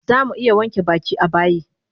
Zamu iya wanke baki a bayi